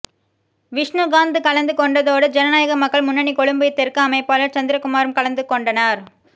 விஷ்ணுகாந் கலந்து கொண்டதோடு ஜனநாயக மக்கள் முன்னணி கொழும்பு தெற்கு அமைப்பாளர் சந்திரகுமாரும் கலந்து னொண்டார்